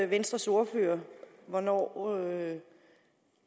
venstres ordfører hvornår